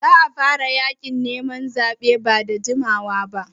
Za a fara yaƙin neman zaɓe ba da jimawa ba.